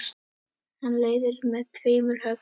Hann leiðir með tveimur höggum.